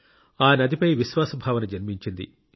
ఆ నదిపై విశ్వాస భావన జన్మించింది